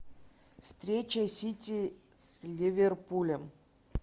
встреча сити с ливерпулем